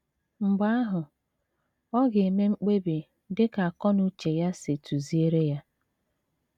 Mgbe ahụ, ọ ga - eme mkpebi dị ka akọ na uche ya si tụziere ya.